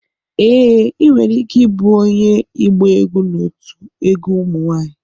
Ee, ị nwere ike ịbụ onye ịgba egwu n'otu egwu ụmụ nwanyị.